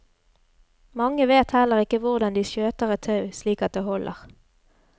Mange vet heller ikke hvordan de skjøter et tau slik at det holder.